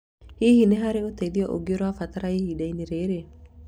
Hihi nĩ harĩ ũteithio ũngĩ ũrabatara ihinda-inĩ rĩrĩ?